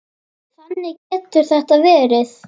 Þannig getur þetta verið.